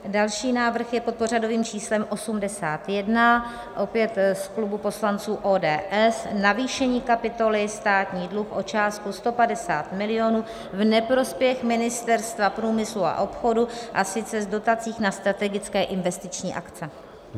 Další návrh je pod pořadovým číslem 81, opět z klubu poslanců ODS, navýšení kapitoly Státní dluh o částku 150 milionů v neprospěch Ministerstva průmyslu a obchodu, a sice z dotací na strategické investiční akce.